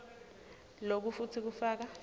loku futsi kufaka